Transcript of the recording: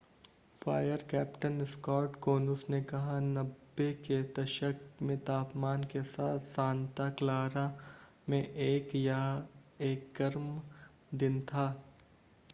fire captain Scott Konus ने कहा 90 के दशक में तापमान के साथ सांता क्लारा में यह एक गर्म दिन था